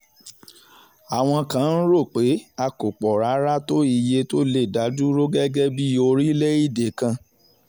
àwọn kan ń rò pé a kò pọ̀ rárá tó iye tó lè dá dúró gẹ́gẹ́ bíi orílẹ̀-èdè kan